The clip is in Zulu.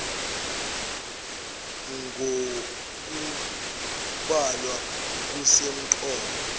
ng okubhalwa kusemqoka